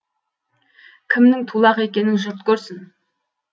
кімнің тулақ екенін жұрт көрсін